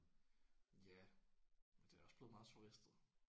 Ja men det er også blevet meget turistet